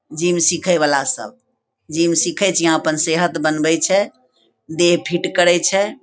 Gym सीखे वाला सब जिम सीखेत यहां अपन सेहत बनवत छै देह फीट करेक छै।